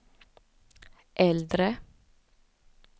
äldre